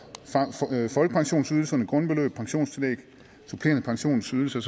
folkepensionsydelserne grundbeløb pensionstillæg supplerende pensionsydelse